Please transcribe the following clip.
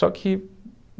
Só que